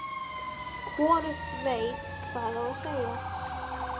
Hvorugt veit hvað á að segja.